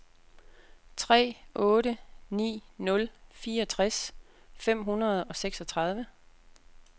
tre otte ni nul fireogtres fem hundrede og seksogtredive